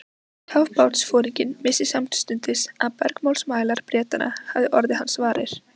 Kafbátsforinginn vissi samstundis að bergmálsmælar Bretanna hefðu orðið hans varir.